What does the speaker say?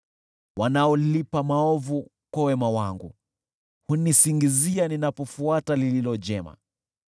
Wanaolipa maovu kwa wema wangu hunisingizia ninapofuata lililo jema.